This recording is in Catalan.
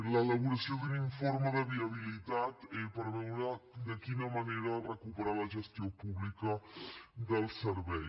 l’elaboració d’un informe de viabilitat per veure de quina manera recuperar la gestió pública del servei